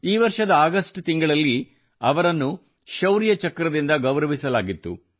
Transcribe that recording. ಈ ವರ್ಷದ ಅಗಸ್ಟ್ ತಿಂಗಳಲ್ಲಿ ಅವರನ್ನು ಶೌರ್ಯ ಚಕ್ರದಿಂದ ಗೌರವಿಸಲಾಗಿತ್ತು